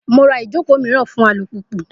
Mo ra ijoko miiran fun alupupu